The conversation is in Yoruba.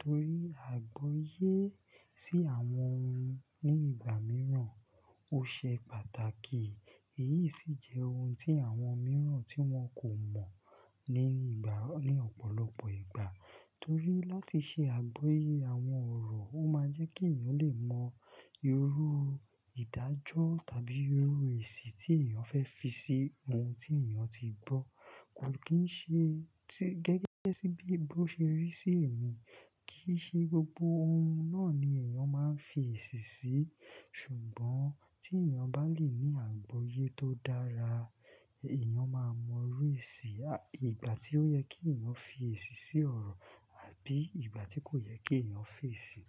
torí àgbọ́yé sí àwọn ohun ní ìgbà mìíràn, ó ṣe pàtàkì. Èyí sì jẹ́ ohun tí àwọn mìíràn tí wọn kò mọ̀ ní ìgbà, ní ọ̀pọ̀lọpọ̀ ìgbà. Torí láti ṣe àgbọ́yé àwọn ọ̀rọ̀, ó máa jẹ́ kí èèyàn lè mọ irú ìdájọ́ tàbí irú èsì tí èèyàn fẹ́ fi sí ohun tí èèyàn ti gbọ́. Kò kì í ṣe gẹ́gẹ́ bí èèbó ṣe rí sí ẹ̀mí, kì í ṣe gbogbo ohun náà ni èèyàn máa ń fi èsì sí. Ṣùgbọ́n tí èèyàn bá lè ní àgbọ́yé tó dára, èèyàn máa mọ irú èsì, àbi ìgbà tí ó yẹ kí èèyàn fi èsì sí ọ̀rọ̀ àbí ìgbà tí kò yẹ kí èèyàn fi èsì.